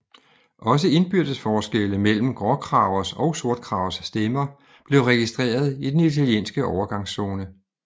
Også indbyrdes forskelle mellem gråkragers og sortkragers stemmer blev registreret i den italienske overgangszone